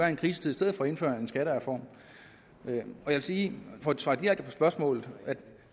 en krisetid i stedet for at indføre en skattereform jeg vil sige for at svare direkte på spørgsmålet at